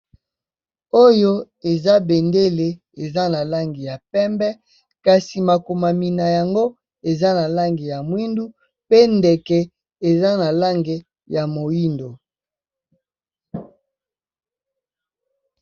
Oyo eza bendele eza na langi ya pembe, kasi makomami na yango eza na langi ya mwindu pe ndeke eza na langi ya moyindo.